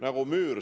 Nagu müür!